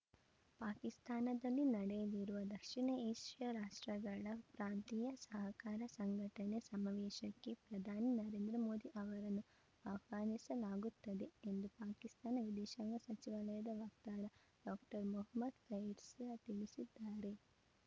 ಪಾಕಿಸ್ತಾನದಲ್ಲಿ ನಡೆಯಲಿರುವ ದಕ್ಷಿಣ ಏಷ್ಯಾ ರಾಷ್ಟ್ರಗಳ ಪ್ರಾಂತೀಯ ಸಹಕಾರ ಸಂಘಟನೆ ಸಮಾವೇಶಕ್ಕೆ ಪ್ರಧಾನಿ ನರೇಂದ್ರ ಮೋದಿ ಅವರನ್ನು ಆಹ್ವಾನಿಸಲಾಗುತ್ತದೆ ಎಂದು ಪಾಕಿಸ್ತಾನ ವಿದೇಶಾಂಗ ಸಚಿವಾಲಯದ ವಕ್ತಾರ ಡಾಕ್ಟರ್ ಮೊಹಮ್ಮದ್‌ ಫೈಸರ್‌ ತಿಳಿಸಿದ್ದಾರೆ